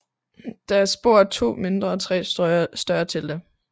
Der er spor af to mindre og tre større telte